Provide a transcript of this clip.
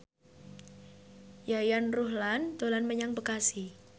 Yayan Ruhlan dolan menyang Bekasi